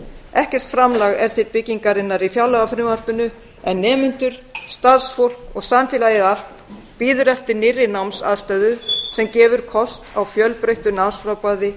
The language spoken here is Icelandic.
ekkert framlag er til byggingarinnar í fjárlagafrumvarpinu en nemendur starfsfólk og samfélagið allt bíður eftir nýrri námsaðstöðu sem gefur kost á fjölbreyttu námsframboði